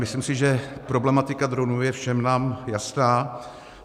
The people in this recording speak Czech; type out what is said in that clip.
Myslím si, že problematika dronů je nám všem jasná.